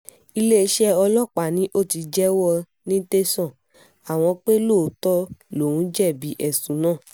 iléeṣẹ́ ọlọ́pàá ni ó ti jẹ́wọ́ ní tẹ̀sán àwọn pé lóòótọ́ lòún jẹ̀bi ẹ̀sùn náà